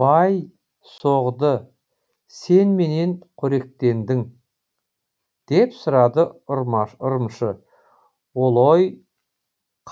бай соғды сен немен коректендің деп сұрады ұрымшы олой